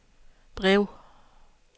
brev